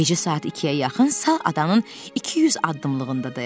Gecə saat ikiyə yaxın sal adanın 200 addımlığında dayandı.